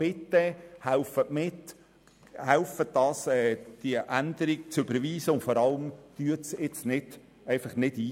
Bitte helfen Sie mit, helfen Sie, die Änderung zu überweisen, und vor allem, treten Sie nicht einfach nicht ein.